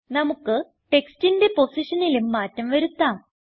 നമുക്ക് ടെക്സ്റ്റിന്റെ പൊസിഷനിലും മാറ്റം വരുത്താം